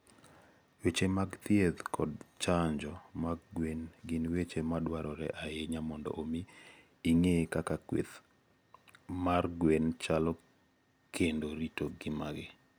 Weche mag thieth kod chanjo mag gwen gin weche madwarore ahinya mondo omi ing'e kaka kweth mar gwen chalo kendo rito ngimagi.